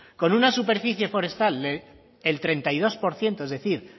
con una superficie forestal del treinta y dos por ciento es decir